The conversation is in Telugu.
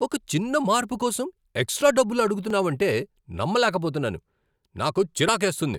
ఒక చిన్న మార్పు కోసం ఎక్స్ట్రా డబ్బులు అడుతున్నావంటే నమ్మలేకపోతున్నాను. నాకు చిరాకేస్తుంది.